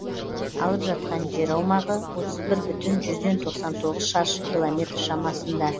алып жатқан жер аумағы отыз бір бүтін жүзден тоқсан тоғыз шаршы километр шамасында